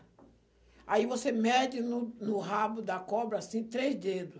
Aí você mede no no rabo da cobra, assim, três dedos.